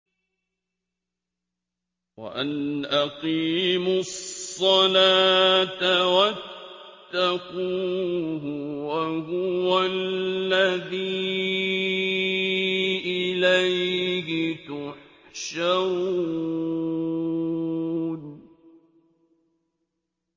وَأَنْ أَقِيمُوا الصَّلَاةَ وَاتَّقُوهُ ۚ وَهُوَ الَّذِي إِلَيْهِ تُحْشَرُونَ